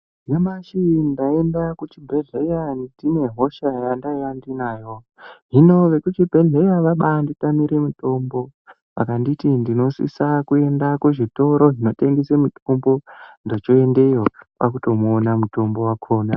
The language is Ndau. Nyamashi ndaenda kuchibhedhlera ndine hosha yandaiya ndinayo. Hino vekuchibhedhleya vabanditamire mutombo vakanditi ndinosisa kuenda kuzvitoro zvinotengesa mitombo ndochoendeyo kwakutomuona mutombo wakhona.